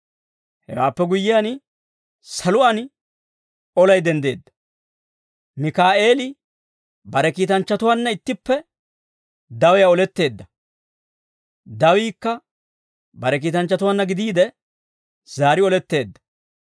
Hewaappe guyyiyaan, saluwaan olay denddeedda. Mikaa'eeli bare kiitanchchatuwaanna ittippe dawiyaa oletteedda; dawiikka bare kiitanchchatuwaanna gidiide, zaari oletteedda.